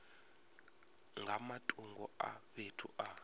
nga matungo a fhethu a